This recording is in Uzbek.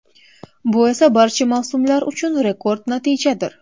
Bu esa barcha mavsumlar uchun rekord natijadir.